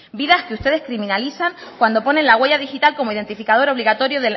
vidas que ustedes criminalizan cuando ponen la huella digital como identificador obligatorio